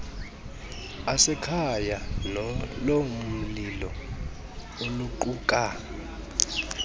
asekhaya nolomlilo oluquka